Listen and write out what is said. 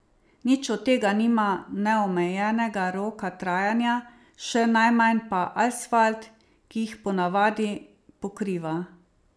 Nič od tega nima neomejenega roka trajanja, še najmanj pa asfalt, ki jih po navadi pokriva.